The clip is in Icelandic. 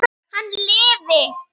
Hann lifi!